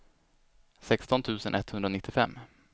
sexton tusen etthundranittiofem